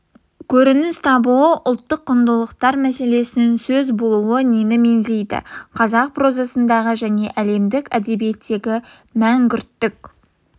көрініс табуы ұлттық құндылықтар мәселесінің сөз болуы нені меңзейді қазақ прозасындағы және әлемдік әдебиеттегі мәңгүрттік